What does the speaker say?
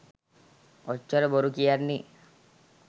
ඔච්චර බොරු කියන්නෙ